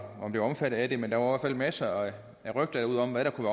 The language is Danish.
omfattet af det men der var fald masser af rygter ude om hvad der kunne